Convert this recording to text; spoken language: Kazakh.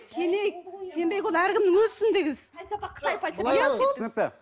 сенейік сенбейік ол әркімнің өз ісіндегі іс түсінікті